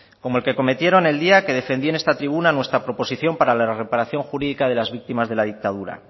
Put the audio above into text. como el que cometieron el día que defendí en esta tribuna nuestra proposición para la reparación jurídica de las víctimas de la dictadura